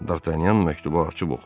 Dartanyan məktubu açıb oxudu.